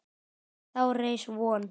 Þá reis von